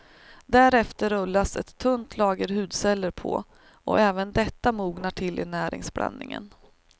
Därefter rullas ett tunt lager hudceller på och även detta mognar till i näringsblandningen.